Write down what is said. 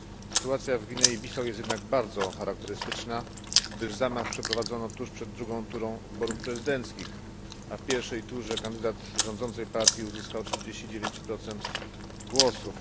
Sytuacja w Gwinei Bissau jest jednak bardzo charakterystyczna, gdyż zamach przeprowadzono tuż przed drugą wyborów prezydenckich, a w pierwszej turze kandydat rządzącej partii uzyskał 49 głosów.